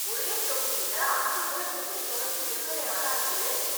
ஒரே தொகுதியில ஐஞ்சு முறை எப்படி தொடர்ந்து எம்எல்ஏ ஆனாரு இவரு !